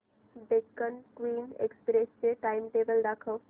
Deccan Queen Express चे timetable दाखव